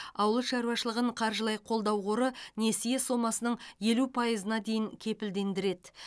ауыл шаруашылығын қаржылай қолдау қоры несие сомасының елу пайызына дейін кепілдендіреді